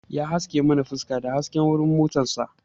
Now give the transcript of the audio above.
Ya haske mana fuska da hasken wuran motar sa